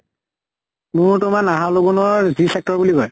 মোৰ তোমাৰ নাহৰ লগোনৰ g-sector বুলি কয় ।